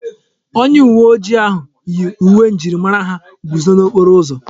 Onye uwe ojii ahụ yi uwe njirimara ha guzo n'okporo ụzọ.